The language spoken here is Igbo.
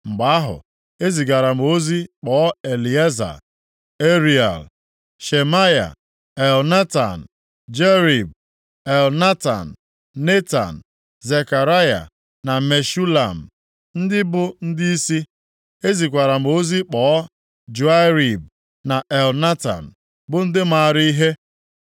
Mgbe ahụ, ezigara m ozi kpọọ Elieza, Ariel, Shemaya, Elnatan, Jarib, Elnatan, Netan, Zekaraya na Meshulam, ndị bụ ndịisi. Ezikwara m ozi kpọọ Joiarib na Elnatan, bụ ndị maara ihe.